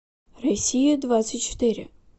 россия двадцать четыре